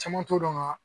Caman t'o dɔn ka